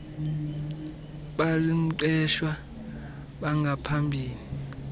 bal mqeshwa bangaphambili